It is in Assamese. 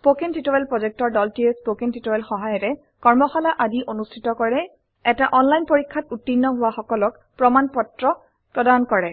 স্পোকেন টিউটোৰিয়েল প্ৰকল্পৰ দলটিয়ে স্পোকেন টিউটোৰিয়েল সহায়িকাৰে কৰ্মশালা আদি অনুষ্ঠিত কৰে এটা অনলাইন পৰীক্ষাত উত্তীৰ্ণ হোৱা সকলক প্ৰমাণ পত্ৰ প্ৰদান কৰে